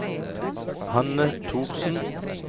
Hanne Thorsen